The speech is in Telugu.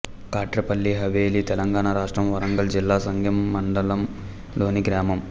కాట్రేపల్లి హవేలి తెలంగాణ రాష్ట్రం వరంగల్ జిల్లా సంగెంమండలం లోని గ్రామం